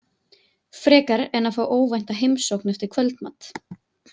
Frekar en að fá óvænta heimsókn eftir kvöldmat.